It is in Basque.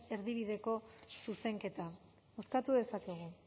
erdibideko zuzenketa bozkatu dezakegu